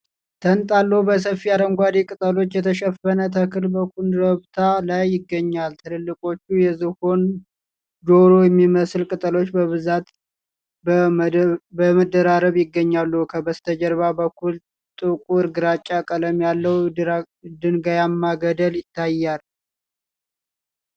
ተንጣሎ በሰፊ አረንጓዴ ቅጠሎች የተሸፈነ ተክል በኰረብታ ላይ ይገኛል። ትልልቆቹ የዝሆን ጆሮ የሚመስሉ ቅጠሎች በብዛትና በመደራረብ ይገኛሉ። ከበስተጀርባ በኩል ጥቁር ግራጫ ቀለም ያለው ድንጋያማ ገደል ይታያል።